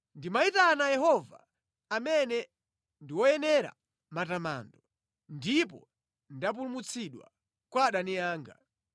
“Ndimayitana Yehova amene ndi woyenera matamando, ndipo ndapulumutsidwa kwa adani anga.